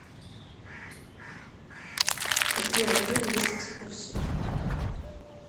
какие в отеле есть экскурсии